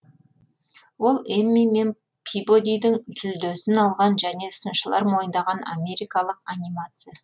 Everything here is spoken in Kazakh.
ол эмми мен пибодидің жүлдесін алған және сыншылар мойындаған америкалық анимация